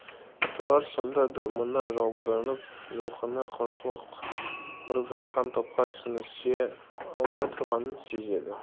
тұрар сонда да мына жалбарынып жұлқына құлшылық ұрып жатқан топқа сіңісе алмай тұрғанын сезеді